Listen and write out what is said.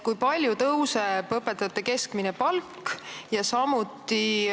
Kui palju tõuseb õpetajate keskmine palk?